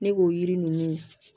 Ne k'o yiri ninnu